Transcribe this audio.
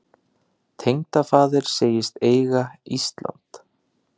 Tengdafaðir segist eiga Ísland.